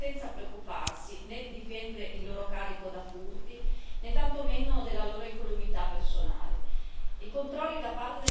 Essi devono poter riposare senza preoccuparsi né di difendere il loro carico da furti, né tantomeno della loro incolumità personale.